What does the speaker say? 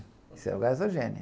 Isso é o gasogênio.